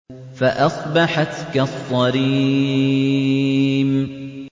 فَأَصْبَحَتْ كَالصَّرِيمِ